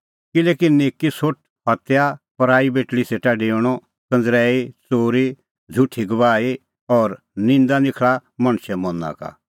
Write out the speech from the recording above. किल्हैकि निक्की सोठ हत्या पराई बेटल़ी सेटा डेऊणअ कंज़रैई च़ोरी झ़ुठी गवाही और निंदा निखल़ा मणछे मना का